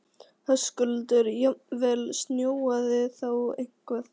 Höskuldur: Jafnvel snjóað þá eitthvað?